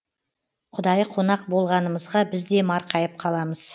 құдайы қонақ болғанымызға біз де марқайып қаламыз